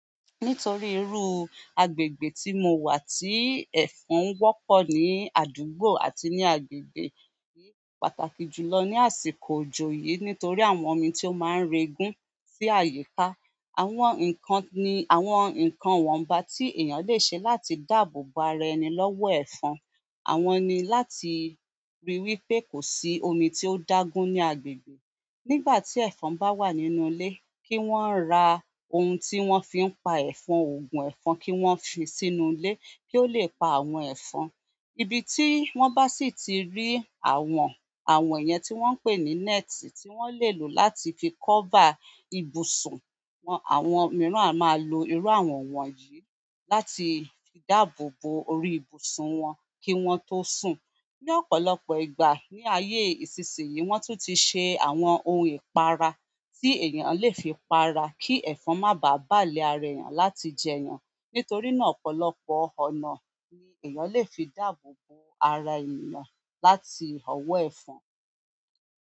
Nítorí irú agbègbè tí mo wà tí ẹ̀fọn wọ́pọ̀ ní àdúgbò àti ní agbègbè, kìí pàtàkì jùlọ ní àsìkò òjò yìí nítorí àwọn omi tí ó máa ń re gún sí àyíká. Àwọn ǹkan ni àwọn ǹkan wọ́n bá tí èèyàn lè ṣe láti dáàbò bo ara ẹni lọ́wọ́ ẹ̀fọn. Àwọn ni láti ríi wí pé kò sí omi tí ó dá gún ní agbègbè. Nígbà tí ẹ̀fọn bá wà nínú ilé, kí wọ́n ra ohun tí wọ́n fi ń pa ẹ̀fọn, òògùn ẹ̀fọn kí wọ́n fi sínú ilé kí ó lè pa àwọn ẹ̀fọn. Ibi tí wọ́n bá sì ti rí àwọn, àwọn yẹn tí wọ́n ń pè ní net tí wọ́n lè lò láti fi cover ibùsùn wọn. Àwọn mìíràn a máa lo irú àwọn wọ̀nyí láti fi dáàbò bo orí ibùsùn wọn kí wọ́n tó sùn. Ni ọ̀pọ̀lọpọ̀ ìgbà ní ayé ìsinsìnyí wọ́n tún ti ṣe àwọn ohun ìpara tí èèyàn lè fi pa ara kí ẹ̀fọn má bàa bà lé ara èèyàn láti jẹ èèyàn. Nítorí náà ọ̀pọ̀lọpọ̀ ọ̀nà ni èèyàn lè fi dáàbò bo ara èèyàn láti ọwọ́ ẹ̀fọn.